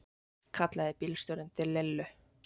kallaði bílstjórinn til Lillu.